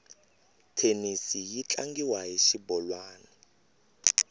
thenisi yi tlangiwa hi xibolwani